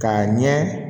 K'a ɲɛ